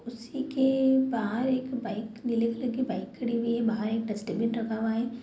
उसी के बाहर एक बाइक डिलेवरी की बाइक खड़ी हुई है वहाँ एक डस्टबिन रखा हुआ है।